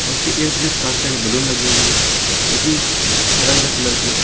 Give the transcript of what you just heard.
उसके इर्द गिर्द काफी सारे बैलून लगी हुई है जो कि अलग अलग कलर के है।